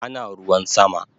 Ana ruwan sama